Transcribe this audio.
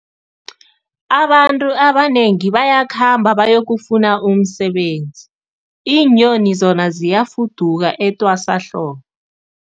Abantu abanengi bayakhamba bayokufuna umsebenzi, iinyoni zona ziyafuduka etwasahlobo.